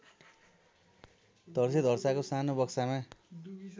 धर्सैधर्साको सानो बक्सामा